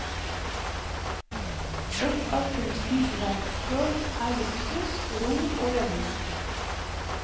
Ett av kunstens valgspråk er luksus, ro og vellyst.